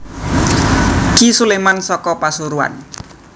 Ki Suleman saka Pasuruan